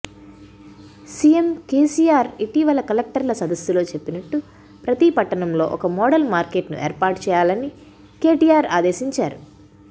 CM KCR ఇటీవల కలెక్టర్ల సదస్సులో చెప్పినట్టు ప్రతి పట్టణంలో ఒక మోడల్ మార్కెట్ను ఏర్పాటుచేయాలని కేటీఆర్ ఆదేశించారు